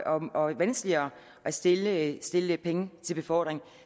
og vanskeligere at stille at stille penge til befordring